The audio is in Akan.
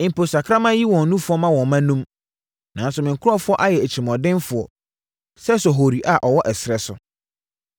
Mpo sakraman yi wɔn nufoɔ ma wɔn mma enum, nanso me nkurɔfoɔ ayɛ atirimuɔdenfoɔ sɛ sohori a ɔwɔ ɛserɛ so.